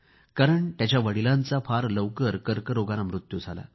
कारण त्याच्या वडिलांचा फारच लवकर कर्करोगाने मृत्यू झाला आहे